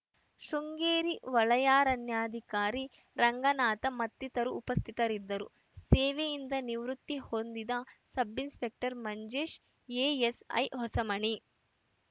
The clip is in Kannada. ಶೃಂಗೇರಿ ವಲಯಾರಣ್ಯಾಧಿಕಾರಿ ರಂಗನಾಥ್‌ ಮತ್ತಿತರರು ಉಪಸ್ಥಿತರಿದ್ದರು ಸೇವೆಯಿಂದ ನಿವೃತ್ತಿ ಹೊಂದಿದ ಸಬ್‌ಇನ್‌ಸ್ಪೆಕ್ಟರ್‌ ಮಂಜೇಶ್‌ ಎಎಸ್‌ಐ ಹೊಸಮನಿ